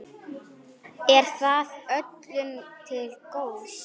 Er það öllum til góðs?